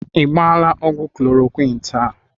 I gbaala ọgwụ Koloroqini taa?